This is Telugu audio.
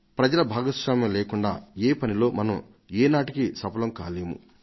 ప్రజల భాగస్వామ్యం లేకుండా ఈ పనిలో మనం ఏనాటికీ సఫలం కాలేము